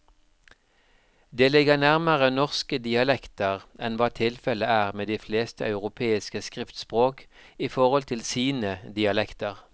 Det ligger nærmere norske dialekter enn hva tilfellet er med de fleste europeiske skriftspråk i forhold til sine dialekter.